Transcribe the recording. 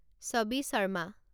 ছবি শৰ্মা